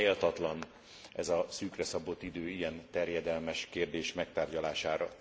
Talán méltatlan ez a szűkre szabott idő ilyen terjedelmes kérdés megtárgyalására.